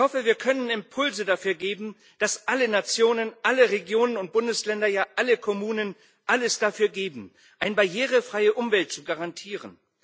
Ich hoffe, wir können Impulse dafür geben, dass alle Nationen, alle Regionen und Bundesländer, ja, alle Kommunen alles dafür geben, eine barrierefreie Umwelt zu garantieren.